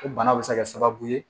O bana bɛ se ka kɛ sababu ye